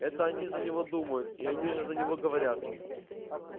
это они за него думают и они же за него говорят